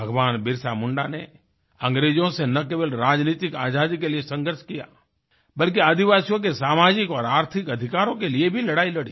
भगवान बिरसा मुंडा ने अंग्रेजों से ना केवल राजनीतिक आज़ादी के लिए संघर्ष किया बल्कि आदिवासियों के सामाजिक और आर्थिक अधिकारों के लिए भी लड़ाई लड़ी